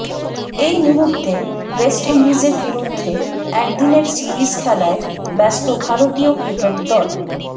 এই মুহূর্তে ওয়েস্টইন্ডিজের বিরুদ্ধে একদিনের সিরিজ খেলায় ব্যস্ত ভারতীয় ক্রিকেট দল